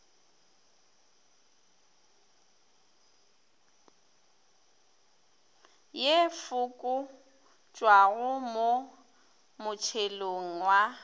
ye fokotšwago mo motšhelong wa